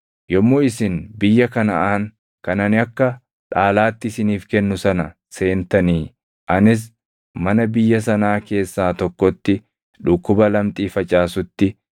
“Yommuu isin biyya Kanaʼaan kan ani akka dhaalaatti isiniif kennu sana seentanii anis mana biyya sanaa keessaa tokkotti dhukkuba lamxii facaasutti,